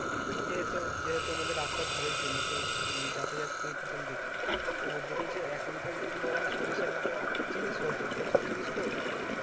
যেহেতু যেহেতু আমাদের রাস্তার ধারে জমি তো যাতায়াত করি তখন দেখি তো ওদের যে এখনকার যদি বলা হয় সরিষা চিনিস হয়তো সরিষা চিনিস তো